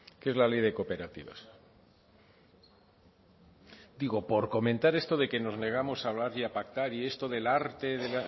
que es la ley de cooperativas digo por comentar esto de que nos negamos a hablar y a pactar y esto del arte de